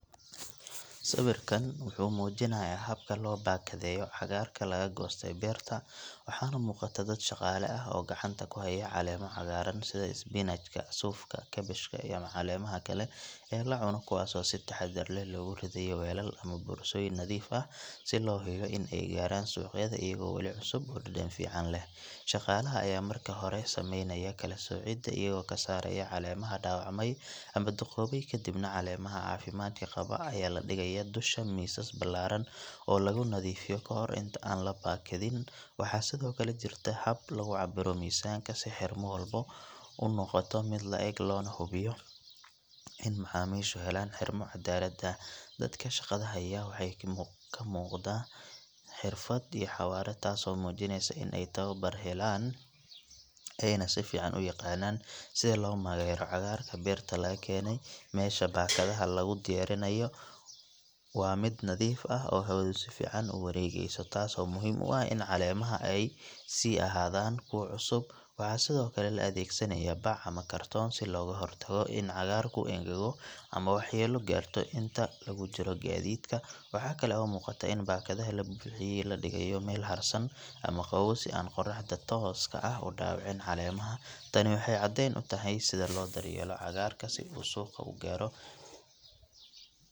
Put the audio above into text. Sawiirkaan wuxuu mujinaaya habka loo bakadeeyo cagaarka laga gooste beerta, waxaa umuqata dad shaqaala ah oo gacanta ku haaya caleema cagaaran sida spinach ,sukuma, kabach iyo caleemaha kale oo lacuno kuwaas oo si taxadar leh loogu ridaayo weelal ama borsadooyin nadiif ah si loo geeyo suuqyada, shaqalaha ayaa marka hore sameeynaya kala socida ayago kasaaraya caleemaha daawacme ama duqoobi kadibna caleemaha cafimaadka qaba ayaa ladigaaya dusha miisaska balaaran oo lagu nadiifiyo kahor intaan la bakamin, waxaa sido kale jirta hab lagu cabiro mizanka si xirma walbo unoqota oona lahubiyo si dadka helaan xirma cadaalad ah, dadka shaqada haaya waxaa kamuqda xirfad iyo xawaara taas oo keneysa in aay tababar helaan, sida loo mareyo cagaarka beerta laga keene, meesha bakadaha lagu diyaarinaayo waa mid nadiif ah oo hawada si fican uwareegeso taas oo muhiim u ah in caleemaha aay sii ahaadan kuwa cusub, waxaa sido kale la adeegsanaya bac ama kartoon si looga hor tago in cagaarku engago ama wax yeelo gaarto inta lagu jiro gadiidka, waxaa kale oo muqata in bakadaha labuuxiye ee lageeyo meel harsan iyo qoraxda tooska ah ee dawicin caleemaha, tani waxeey cadeen utahay sida loo daryeelo cagaarka si uu suuqa ugaaro.